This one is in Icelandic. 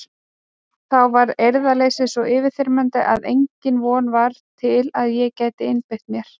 Þá varð eirðarleysið svo yfirþyrmandi að engin von var til að ég gæti einbeitt mér.